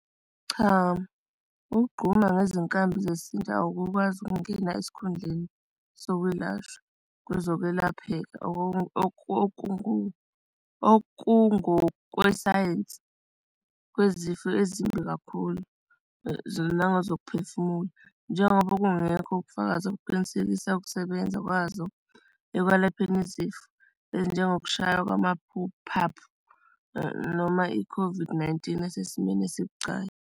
Cha, ukugoma ngezinkambi zesintu awukwazi ukungena esikhundleni sokwelashwa kwezokwelapheka okungokwesayensi kwezifo ezimbi kakhulu nazokuphefumula, njengoba kungekho ukufakaza ukuqinisekisa ukusebenza kwazo ekwelapheni izifo ezinjengokushaywa kwama phaphu noma i-COVID-19 asesimeni esibucayi.